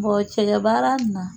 Bɔn cɛgɛbaara in na